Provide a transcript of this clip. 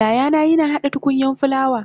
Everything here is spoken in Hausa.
yayana yina hada tukunyan fulawa